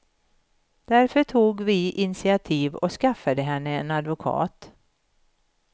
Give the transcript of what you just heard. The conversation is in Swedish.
Därför tog vi initiativ och skaffade henne en advokat.